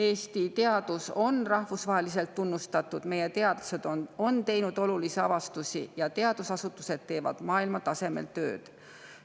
Eesti teadus on rahvusvaheliselt tunnustatud, meie teadlased on teinud olulisi avastusi ja teadusasutused teevad maailmatasemel tööd.